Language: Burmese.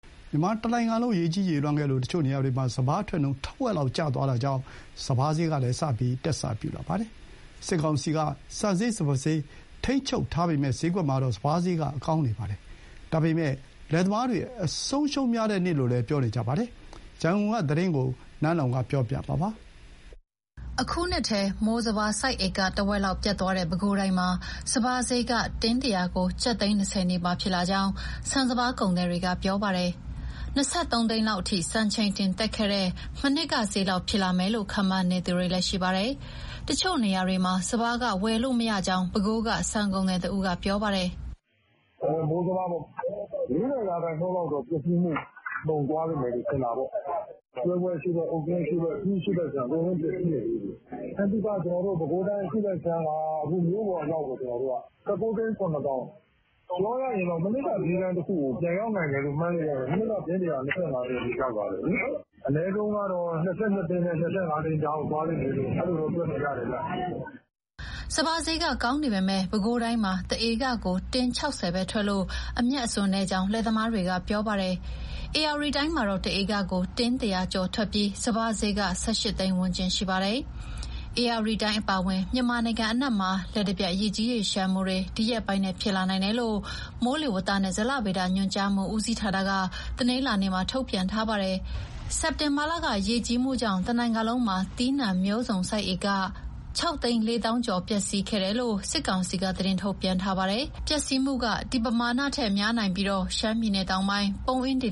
မြန်မာတနိုင်ငံလုံး ရေကြီးရေလျှံခဲ့ပြီးတဲ့နောက် တချို့နေရာတွေမှာ စပါးအထွက်နှုန်း ထက်ဝက်လောက် ကျသွားလို့ စပါးဈေးလည်း တက်စပြုလာပါတယ်။ စစ်ကောင်စီက ဆန်ဈေး၊ စပါးဈေးကို ထိန်းချုပ် ထားပေမဲ့ ဈေးကွက်မှာတော့ စပါးဈေးကောင်းရင်တောင် လယ်သမားတွေ အဆုံးအရှုံးများတဲ့နှစ်လို့ အများစုက ပြောဆိုနေကြတာပါ။ ရန်ကုန်က သတင်းပေးပို့ထားတာကို နန်းလောဝ်က တင်ပြပေးထားပါတယ်။ အခုနှစ်ထဲ မိုးစပါးစိုက်ဧက ထက်ဝက်လောက်ပျက်သွားတဲ့ ပဲခူးတိုင်းမှာ စပါးစျေးက တင်း ၁၀၀ ကို ကျပ်သိန်း ၂၀ နီးပါးဖြစ်လာကြောင်း ဆန်၊ စပါး ကုန်သည်တွေက ပြောပါတယ်။ ၂၃ သိန်းလောက်အထိ စံချိန်တင်တက်ခဲ့တဲ့ မနှစ်ကစျေးလောက် ဖြစ်လာမယ်လို့ ခန့်မှန်းနေသူတွေလည်း ရှိပါတယ်။ တချို့ နေရာတွေမှာ စပါးဝယ်လို့မရကြောင်း ပဲခူးတိုင်းက ဆန်ကုန်သည်တဦးက ပြောပါတယ်။ "မိုးစပါးပေါ့ ၄၀ ရာခိုင်နှုန်းလောက်တော့ ပျက်စီးမှု ကျော်သွားလိမ့်မယ် ထင်တာပေါ့။ ကျွဲကွဲ အရှေ့ ဘက်၊ အုတ်ကျင်းအရှေ့ဘက်၊ အရှေ့ဘက်အခြမ်း အကုန်လုံး ပျက်စီးတယ်လေ။ ဆင်းသုခ ပဲခူးတိုင်း အရှေ့ဘက်အခြမ်းက (တင်းတရာကို) အခု မြို့ပေါ်အရောက်ကို ကျနော်တို့က ၁၉ သိန်း၊ ၇ သောင်း။ ပြောရရင် မနှစ်ကစျေးတန်းတခုကို ပြန်ရောက်လိမ့်မယ်လို့ မှန်းလို့ရတယ်။ မနှစ်က တင်းတရာကို ၂၅ သိန်းအထိ ရောက်သွားတယ်လေ။ အနည်းဆုံးကတော့ ၂၂ သိန်းနဲ့ ၂၅ သိန်းကြားကို သွားလိမ့်မယ်လို့ တွက်လိုရတယ်ဗျ။" စပါးစျေးက ကောင်းနေပေမဲ့ ပဲခူးတိုင်းမှာ တဧကကို တင်း၆၀ပဲထွက်လို့ အမြတ်အစွန်းနည်းကြောင်း လယ်သမားတွေက ပြောပါတယ်။ ဧရာဝတီတိုင်းမှာတော့ တဧကကို တင်း၁၀၀ကျော်ထွက်ပြီး စပါးစျေးက ၁၈သိန်းဝန်းကျင် ရှိပါတယ်။ ဧရာဝတီတိုင်းအပါအဝင် မြန်မာနိုင်ငံအနှံ့မှာ လျှပ်တပြက် ရေကြီး၊ ရေလျှံမှုတွေ ဒီရက်ပိုင်းထဲ ဖြစ်လာနိုင်တယ်လို့ မိုးလေဝသနှင့် ဇလဗေဒညွှန်ကြားမှု ဦးစီးဌာနက တနင်္လာနေ့မှာ ထုတ်ပြန်ထား ပါတယ်။ စက်တင်ဘာလက ရေကြီးမှုကြောင့် တနိုင်ငံလုံးမှာ သီးနှံမျိုးစုံစိုက်ဧက ၆၄၀,၀၀၀ ကျော် ပျက်စီးခဲ့တယ်လို့ စစ်ကောင်စီက သတင်းထုတ်ပြန်ထားပါတယ်။ ပျက်စီးမှုက ဒီပမာဏထက်များနိုင်ပြီး ရှမ်းပြည်နယ်တောင်ပိုင်း ပုံးအင်းဒေ